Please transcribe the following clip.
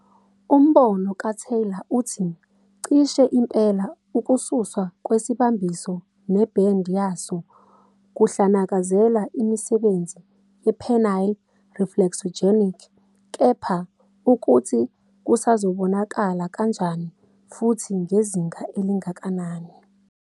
Umbono kaTaylor uthi "cishe impela, ukususwa kwesibambiso nebhendi yaso kuhlanekezela imisebenzi ye-penile reflexogenic kepha ukuthi kusazobonakala kanjani futhi ngezinga elingakanani".